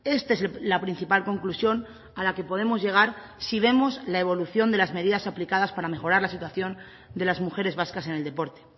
este es la principal conclusión a la que podemos llegar si vemos la evolución de las medidas aplicadas para mejorar la situación de las mujeres vascas en el deporte